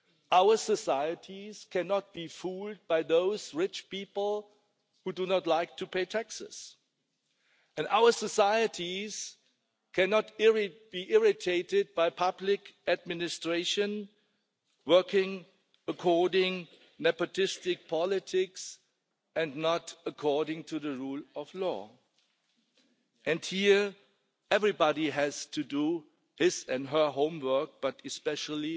Our societies cannot be fooled by those rich people who do not like to pay taxes and our societies cannot be irritated by public administrations working according to nepotistic politics and not according to the rule of law. Here everybody has to do his and her homework, but especially